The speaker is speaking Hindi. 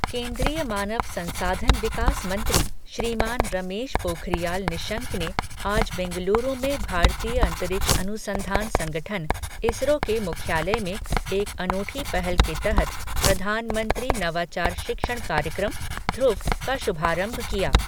केन्द्रीय मानव संसाधन विकास मंत्री, श्रीमान रमेश पोखरियाल निशंक ने आज बेंगलुरु में भारतीय अंतरिक्ष अनुसंधान संगठन, इसरो के मुख्यालय में एक अनूठी पहल के तहत प्रधानमंत्री नवाचार शिक्षण कार्यक्रम, ध्रुव का शुभारंभ किया।